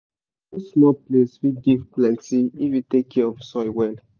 even small place fit give plenty if you take care of soil well.